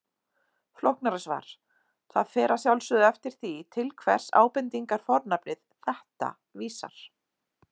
Flóknara svar: Það fer að sjálfsögðu eftir því, til hvers ábendingarfornafnið þetta vísar.